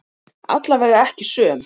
Allavega ekki söm.